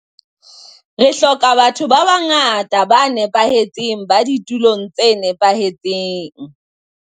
Re hloka ba tho ba bangata ba nepahetseng ba ditulong tse nepahetseng.